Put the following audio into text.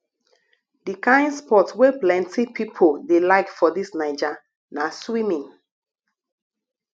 di kain sport wey plenty pipo dey like for dis naija na swimming